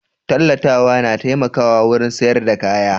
Tallatawa na taimakawa wurin sayar da kaya